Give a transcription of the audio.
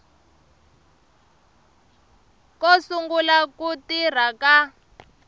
ko sungula ku tirha ka